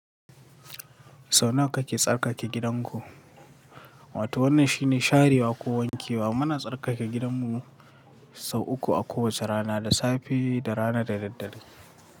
Sau nawa kake tsarkake gidanku? Wato wannan shine sharewa ko wankewa. Muna tsarkake gidanmu sau uku a kowace rana, da safe da rana da daddare.